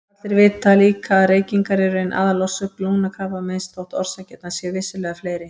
Allir vita líka að reykingar eru ein aðalorsök lungnakrabbameins þótt orsakirnar séu vissulega fleiri.